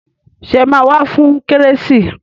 Ṣé ẹ máa wá fún kérésì